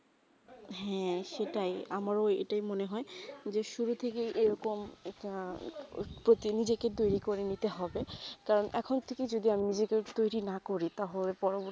হেঁ সেটাই আমরা এইটাই মনে হয়ে যে শুরুথেকে এইরকম একটা প্রতিনিজকে কে টোয়ারী করে নিতে হবে তাও এখন যদি আমি নিজেকে তয়রি না করি তা হবে